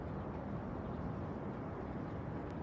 Bilmirəm bu yol nədir.